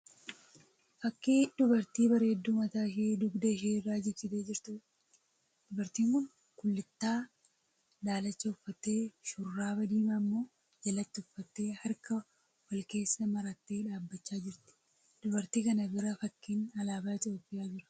Fakkii dubartii bareedduu mataa ishee dugda ishee irra jigsitee jirtuudha. Dubartiin kun kullittaa daalacha uffattee shurraaba diimaa immoo jalatti uffattee harka wal keessa marattee dhaabbachaa jirti. Dubartii kana bira fakkiin alaabaa Itiyoopiyaa jira.